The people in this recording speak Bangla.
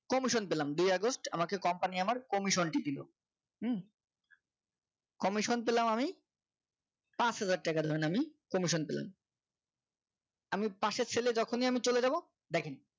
commission পেলাম দুই আগস্ট আমাকে company আমার commission টি দিল হুম commission পেলাম আমি পাঁচ হাজার টাকার জন্য আমি commission পেলাম আমি পাশের ছেলে যখনই আমি চলে যাব দেখেন